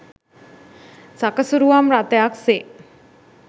සකසුරුවම් රථයක් සේ